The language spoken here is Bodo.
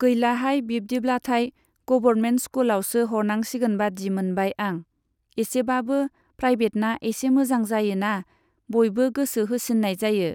गैलाहाय बिदिब्लाथाय गबरमेन्ट स्कुलआवसो हरनांसिगोन बादि मोनबाय आं। इसेबाबो प्राइभेटना इसे मोजां जायोना बयबो गोसो होसिन्नाय जायो।